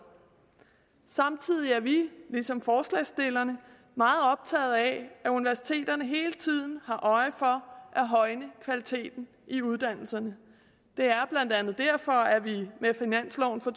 samtidig er vi ligesom forslagsstillerne meget optaget af at universiteterne hele tiden har øje for at højne kvaliteten i uddannelserne det er blandt andet derfor at vi med finansloven for